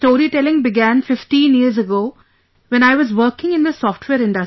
Storytelling began 15 years ago when I was working in the software industry